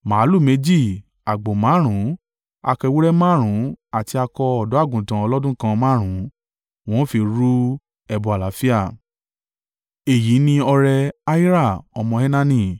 màlúù méjì, àgbò márùn-ún, akọ ewúrẹ́ márùn-ún àti akọ ọ̀dọ́-àgùntàn ọlọ́dún kan márùn-ún, wọn ó fi rú ẹbọ àlàáfíà. Èyí ni ọrẹ Ahira ọmọ Enani.